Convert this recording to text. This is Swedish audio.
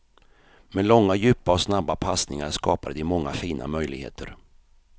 Med långa, djupa och snabba passningar skapade de många fina möjligheter.